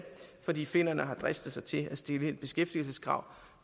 fordi finnerne har dristet sig til at stille et beskæftigelseskrav